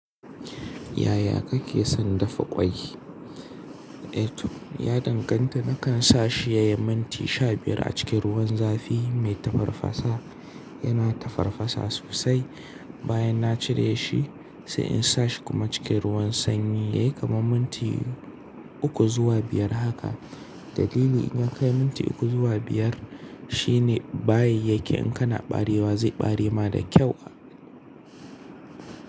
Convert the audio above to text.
Yaya kake son dafa ƙwai? Eh to, ya danganta. Nakan sa shi yayi minti sha biyar a cikin ruwan zafi mai tafarfasa. Yana tafarfasa sosai. Bayan na cire shi, sai in sa shi kuma cikin ruwan sanyi yayin kamun minti uku zuwa biyar haka. Dalili in yakai minti uku zuwa biyar shine bayi yake in kana barewa zai bare ma da kyau a.